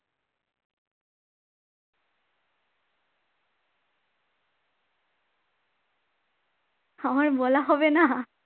আমার বলা হবে না